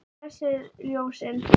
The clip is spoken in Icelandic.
Blessuð ljósin.